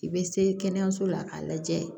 I bɛ se kɛnɛyaso la k'a lajɛ